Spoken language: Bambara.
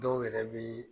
Dɔw yɛrɛ bɛ